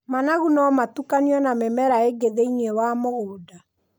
Managu no matukanio na mĩmera ĩngĩ thĩiniĩ wa mũgũnda.